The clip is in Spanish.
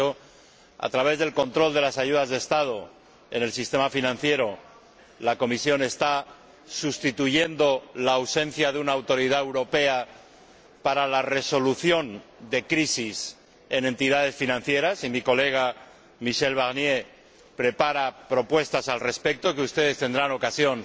De hecho, a través del control de las ayudas de Estado en el sistema financiero, la Comisión está compensando la ausencia de una autoridad europea para la resolución de crisis en entidades financieras —mi colega Michel Barnier prepara propuestas al respecto, que ustedes tendrán ocasión